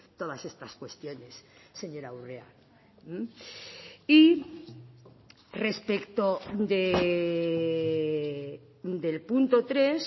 todas estas cuestiones señora urrea y respecto del punto tres